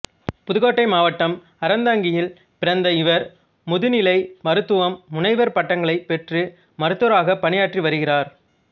புதுக்கோட்டை மாவட்டம் அறந்தாங்கியில் பிறந்த இவர் முதுநிலை மருத்துவம் முனைவர் பட்டங்களைப் பெற்று மருத்துவராகப் பணியாற்றி வருகிறார்